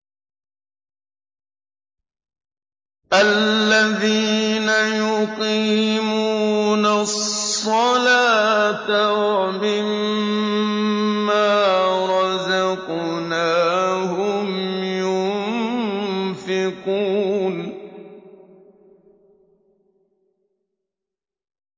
الَّذِينَ يُقِيمُونَ الصَّلَاةَ وَمِمَّا رَزَقْنَاهُمْ يُنفِقُونَ